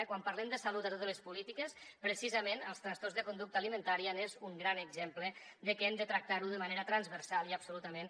quan parlem de salut a totes les polítiques precisament els trastorns de conducta alimentària són un gran exemple de que hem de tractar ho de manera transversal i absolutament